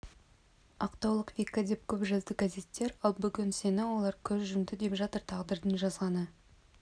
ақтаулық вика деп көп жазды газеттер ал бүгін сені олар көз жұмды деп жатыр тағдырдың жазғаны